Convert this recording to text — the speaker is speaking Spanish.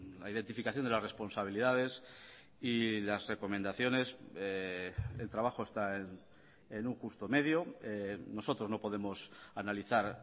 la identificación de las responsabilidades y las recomendaciones el trabajo está en un justo medio nosotros no podemos analizar